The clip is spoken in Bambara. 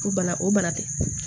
O bana o bana tɛ